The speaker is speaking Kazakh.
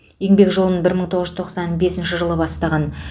еңбек жолын бір мың тоғыз жүз тоқсан бесінші жылы бастаған